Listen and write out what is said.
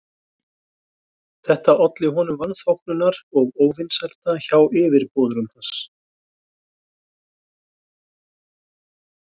Þetta olli honum vanþóknunar og óvinsælda hjá yfirboðurum hans.